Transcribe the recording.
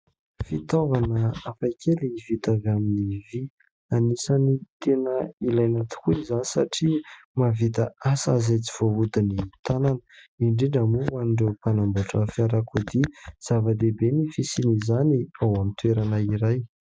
Fitaovana hafa kely vita avy amin'ny vy; anisan'ny tena ilaina tokoa izany satria mahavita asa izay tsy voahodin'ny tanana; indrindra moa ho an'ireo mpanamboatra fiarakodia; zava-dehibe ny fisian'izany ao amin'ny toerana iray.